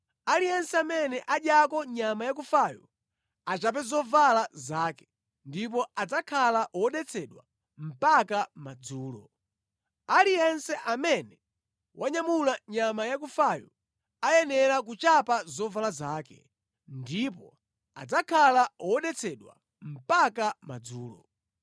Aliyense amene adyako nyama yakufayo achape zovala zake, ndipo adzakhala wodetsedwa mpaka madzulo. Aliyense amene wanyamula nyama yakufayo ayenera kuchapa zovala zake, ndipo adzakhala wodetsedwa mpaka madzulo.